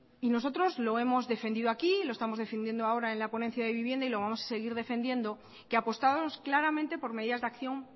y nosotros lo hemos defendido aquí lo estamos defendiendo ahora en la ponencia de vivienda y lo vamos a seguir defendiendo que apostamos claramente por medidas de acción